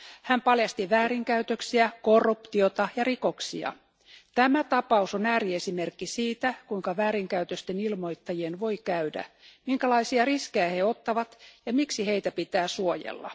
Hän paljasti väärinkäytöksiä, korruptiota ja rikoksia. Tämä tapaus on ääriesimerkki siitä, kuinka väärinkäytösten ilmoittajien voi käydä, minkälaisia riskejä he ottavat ja miksi heitä pitää suojella.